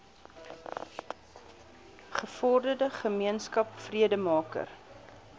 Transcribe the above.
gevorderde gemeenskap vredemaker